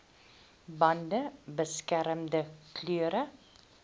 bande beskermende klere